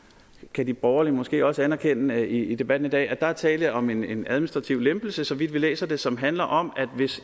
kan de borgerlige måske også anerkende i debatten i dag at der er tale om en administrativ lempelse så vidt vi læser det som handler om at hvis